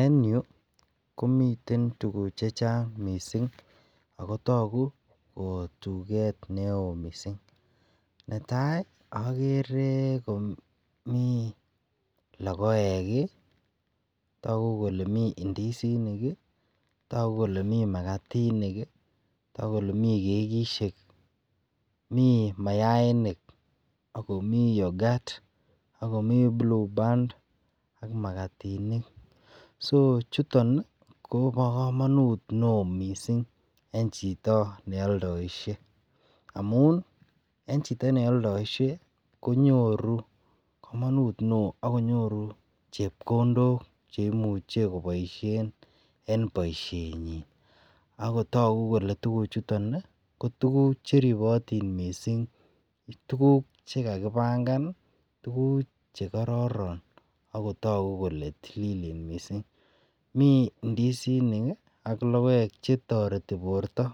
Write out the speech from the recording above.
en yu komiten tuguk chechang mising ago toguu kotugrt neoo mising, netai ogere komii logoek iih, togu komii ndisinik iih, togu komii magatinik iih, togu komii kegisyeek, mii mayainik ak komii yoghurt, ak komii blue band so chuton iih kobo komonuut neoo mising en chito neoldoishee amuun en chito neoldoishe konyoruu komonuut neoo ak konyoruu chepkondook cheimuche koboishen en boisheenyin ago togukole tuguuk chuton iih, kotuguk cheribotin mising, tuguk chegagibangan iih tuguk chegororon ago togu kole tililen mising, mii ndisinik ak logoeek chetorti borto